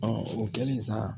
o kɛlen sa